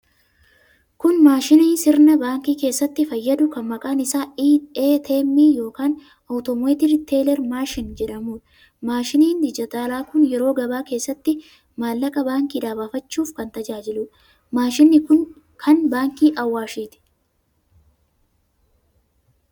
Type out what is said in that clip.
Kun maashinii sirna baankii keessatti fayyadu kan maqaan isaa ATM yookiin 'Automated Teller Machine' jedhamuudha. Maashiniin dijitaalaa kun yeroo gabaa keessatti maallaqa baankiidhaa baafachuuf kan tajaajiluudha. Maashiniin kun kan baankii Awaashiiti.